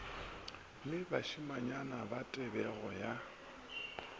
le bašimanyana ba tebego ya